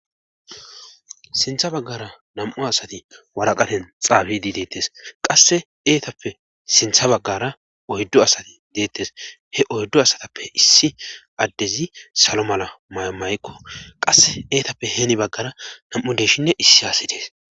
sintha baggara nam7u asati waraqaten xaabidi deettes qasse eetappe sintha baggara oyddo asati deettes he oyddo asatappe issi addezi salo mala mayamaykko qasse eetappe heeni baggara nam7u deshinne issi haasi dees